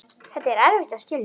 Þetta er erfitt að skilja.